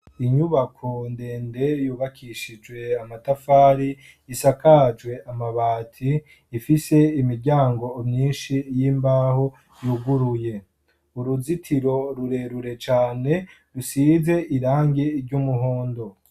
Inyubako ndende yubakishije amatafari isakajwe amabati ifise imiryango myinshi y'imbaho yuguruye. Uruzitiro rurerure cane rusize irangi ry'umuhondo.